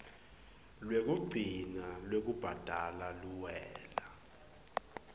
lwekugcina lwekubhadala luwela